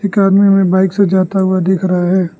एक आदमी हमें बाइक से जाता हुआ दिख रहा है।